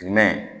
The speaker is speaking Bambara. Jumɛn